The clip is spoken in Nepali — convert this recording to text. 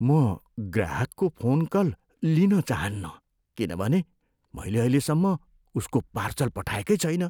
म ग्राहकको फोन कल लिन चाहन्नँ किनभने मैले अहिलेसम्म उसको पार्सल पठाएकै छैन।